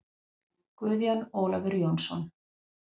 Guðjón Ólafur Jónsson